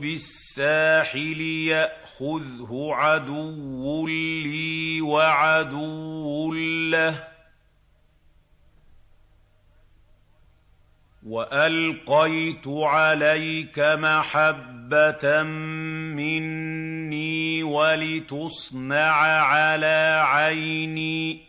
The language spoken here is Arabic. بِالسَّاحِلِ يَأْخُذْهُ عَدُوٌّ لِّي وَعَدُوٌّ لَّهُ ۚ وَأَلْقَيْتُ عَلَيْكَ مَحَبَّةً مِّنِّي وَلِتُصْنَعَ عَلَىٰ عَيْنِي